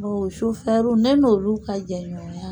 u sufɛriw ne n'ulu ka jɛɲɔgɔn